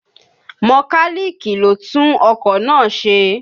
Mọkálíìkì lo tún ọkọ̀ náà ṣe